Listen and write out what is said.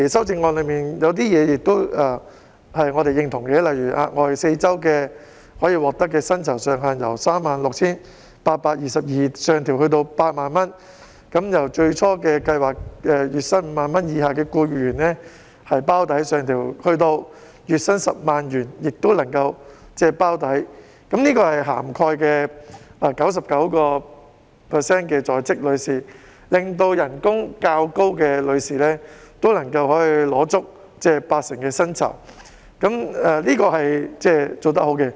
此外，我們亦認同修正案提出額外4周產假的薪酬上限由 36,822 元上調至 80,000 元，由最初計劃月薪 50,000 元以下僱員包底上調至月薪 100,000 元，從而涵蓋了 99% 的在職婦女，令薪酬較高的婦女也能領取八成薪酬，這是好事。